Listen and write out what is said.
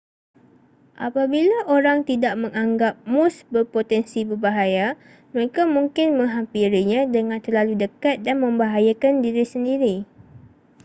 apabila orang tidak menganggap moose berpotensi berbahaya mereka mungkin menghampirinya dengan terlalu dekat dan membahayakan diri sendiri